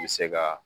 I bɛ se ka